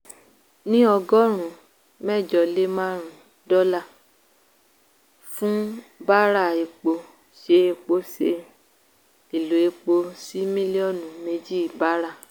ní ọgọ́rùn-ún mẹ́jọ lé márùn-ún dọ́là ($ eighty five ) fún bàráà epo ṣẹ epo ṣẹ èlò epo sí mílíọ̀nù méjì bàráà.